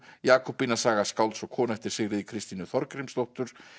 Jakobína ævi skálds og konu eftir Sigríði Kristínu Þorgrímsdóttur